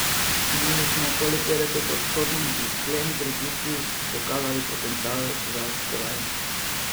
Imeli smo okoli petdesetodstotni izplen pri tistih, ki so kazali potencial za kolajno.